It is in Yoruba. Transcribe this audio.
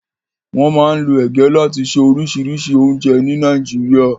Wọ́n máa ń lo ege láti ṣe oríṣìíríṣìí oúnjẹ ní Nàìjíríà.